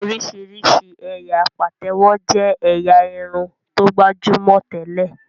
Oríṣiríṣi ẹyà Patewo jé ẹ̀yà Irun tó gbajúmọ̀ tẹlẹ.